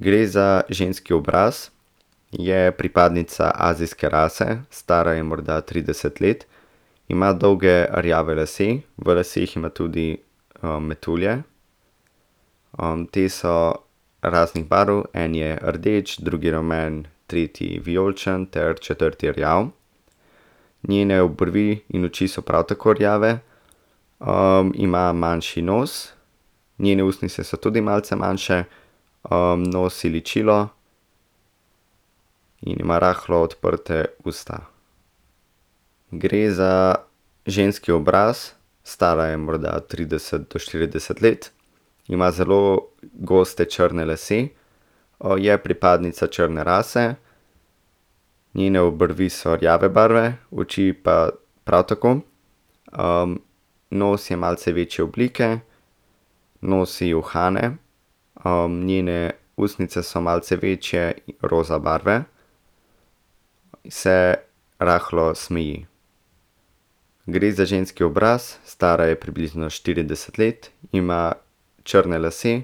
Gre za ženski obraz. Je pripadnica azijske rase, stara je morda trideset let. Ima dolge rjave lase. V laseh ima tudi, metulje. ti so raznih barv. En je rdeč, drugi rumen, tretji vijoličen ter četrti rjav. Njene obrvi in oči so prav tako rjave. ima manjši nos. Njene ustnice so tudi malce manjše. nosi ličilo. Ima rahlo odprta usta. Gre za ženski obraz, stara je morda trideset do štirideset let. Ima zelo goste črne lase, je pripadnica črne rase. Njene obrvi so rjave barve, oči pa prav tako. nos je malce večje oblike, nosi uhane, njene ustnice so malce večje, roza barve. Se rahlo smeji. Gre za ženski obraz, stara je približno štirideset let. Ima črne lase,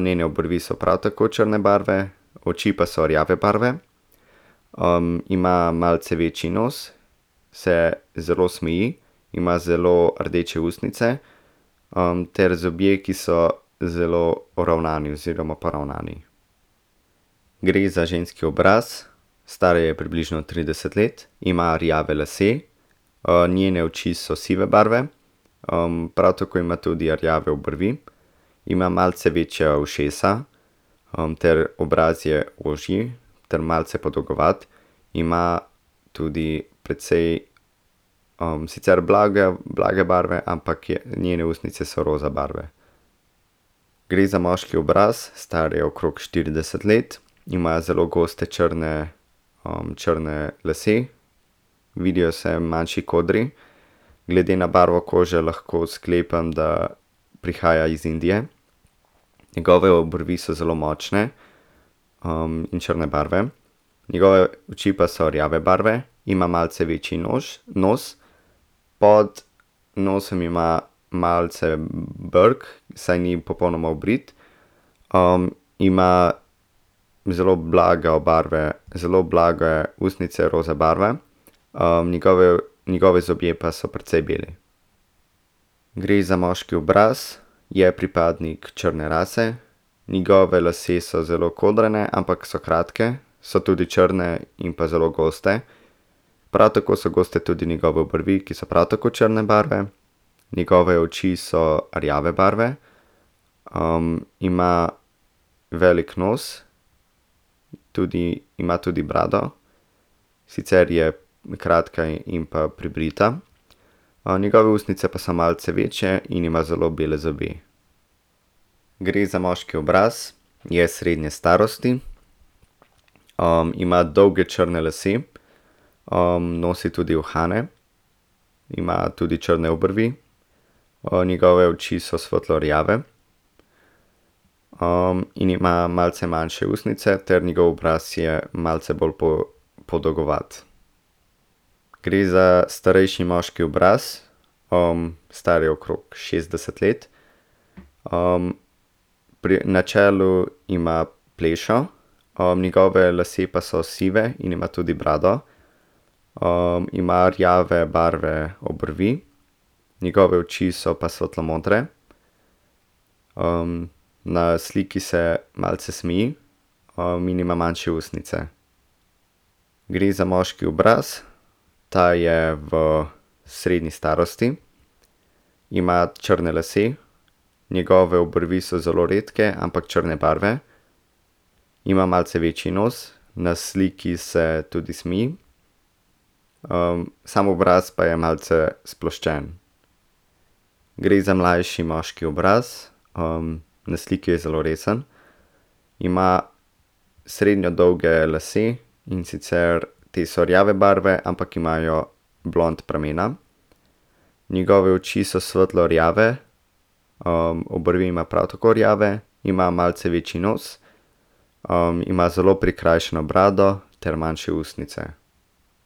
njene obrvi so prav tako črne barve, oči pa so rjave barve. ima malce večji nos, se zelo smeji, ima zelo rdeče ustnice, ter zobje, ki so zelo poravnani oziroma poravnani. Gre za ženski obraz, stara je približno trideset let, ima rjave lase. njene oči so sive barve, prav tako ima tudi rjave obrvi, ima malce večja ušesa, ter obraz je ožji ter malce podolgovat. Ima tudi precej, sicer blage, blage barve, ampak je njene ustnice so roza barve. Gre za moški obraz, star je okrog štirideset let. Ima zelo goste črne, črne lase. Vidijo se manjši kodri. Glede na barvo kože lahko sklepam, da prihaja iz Indije. Njegove obrvi so zelo močne. in črne barve. Njegove oči pa so rjave barve, ima malce večji nož, nos. Pod nosom ima malce brkov, saj ni popolnoma obrit. ima zelo blago barve, zelo blage ustnice roza barve, njegovi zobje pa so precej beli. Gre za moški obraz, je pripadnik črne rase. Njegovi lasje so zelo kodrani, ampak so kratki, so tudi črni in pa zelo gosti. Prav tako so goste tudi njegove obrvi, ki so prav tako črne barve. Njegove oči so rjave barve, ima velik nos. Tudi ima tudi brado, sicer je kratka in pa pribrita. njegove ustnice pa so malce večje in ima zelo bele zobe. Gre za moški obraz, je srednje starosti. ima dolge črne lase. nosi tudi uhane, ima tudi črne obrvi, njegove oči so svetlo rjave. in ima malce manjše ustnice ter njegov obraz je malce bolj podolgovat. Gre za starejši moški obraz. star je okrog šestdeset let. pri na čelu ima plešo. njegovi lasje pa so sivi in ima tudi brado. ima rjave barve obrvi. Njegove oči so pa svetlo modre. na sliki se malce smeji. in ima manjše ustnice. Gre za moški obraz, ta je v srednji starosti. Ima črne lase, njegove obrvi so zelo redke, ampak črne barve. Ima malce večji nos, na sliki se tudi smeji. samo obraz pa je malce sploščen. Gre za mlajši moški obraz, na sliki je zelo resen. Ima srednje dolge lase, in sicer te so rjave barve, ampak imajo blond pramena. Njegove oči so svetlo rjave, obrvi ima prav tako rjave, ima malce večji nos. ima zelo prikrajšano brado ter manjše ustnice.